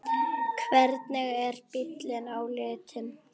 Hvernig er bíllinn á litinn?